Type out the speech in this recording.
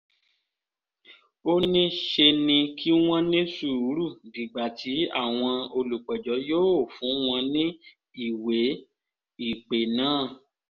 ó ní ṣe ni kí wọ́n ní sùúrù dìgbà tí àwọn olùpẹ̀jọ́ yóò fún wọn ní ìwé-ìpè náà